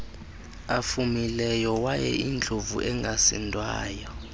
afumileyo wayeyindlovu engasindwayo